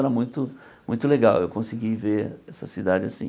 Era muito muito legal eu conseguir ver essa cidade assim.